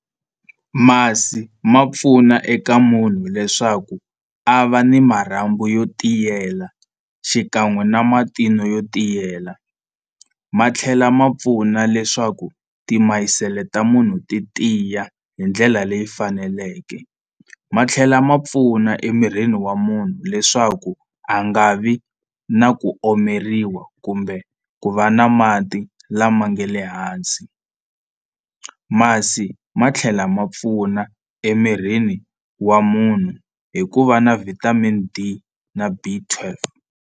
Masi ma pfuna eka munhu leswaku a va ni marhambu yo tiyela xikan'we na matino yo tiyela ma tlhela ma pfuna leswaku timayisele ta munhu ti tiya hi ndlela leyi faneleke ma tlhela ma pfuna emirini wa munhu leswaku a nga vi na ku omeriwa kumbe ku va na mati lama nga le hansi masi ma tlhela ma pfuna emirini wa munhu hi ku va na vitamin D na B twelve.